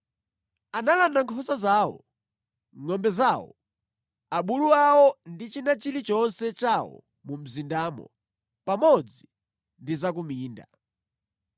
Analanda nkhosa zawo, ngʼombe zawo, abulu awo ndi china chilichonse chawo mu mzindamo pamodzi ndi za ku minda.